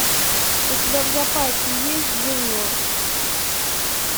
у тебя в запасе есть джуниор